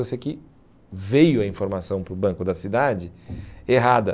Eu sei que veio a informação para o banco da cidade errada.